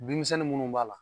Denmisɛnnin minnu b'a la.